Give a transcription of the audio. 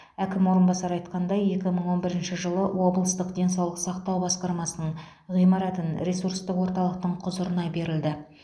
әкім орынбасары айтқандай екі мың он бірінші жылы облыстық денсаулық сақтау басқармасының ғимаратын ресурстық орталықтың құзырына берілді